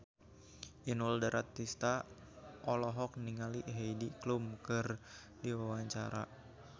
Inul Daratista olohok ningali Heidi Klum keur diwawancara